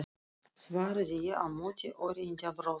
svaraði ég á móti og reyndi að brosa.